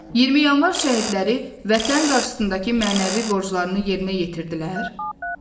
20 yanvar şəhidləri Vətən qarşısındakı mənəvi borclarını yerinə yetirdilər.